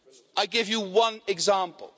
I give you one example.